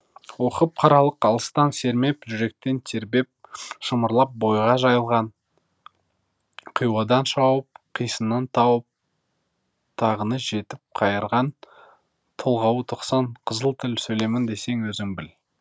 оқып қаралық алыстан сермеп жүректен тербеп шымырлап бойға жайылған қиуадан шауып қисынын тауып тағыны жетіп қайырған толғауы тоқсан қызыл тіл сөйлеймін десең өзің біл